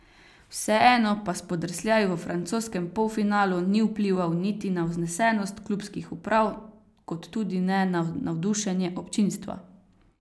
Vseeno pa spodrsljaj v francoskem polfinalu ni vplival niti na vznesenost klubskih uprav kot tudi ne na navdušenje občinstva.